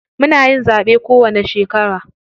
Muna yin zaɓe kowanni shekara.